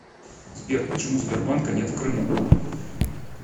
сбер почему сбербанка нет в крыму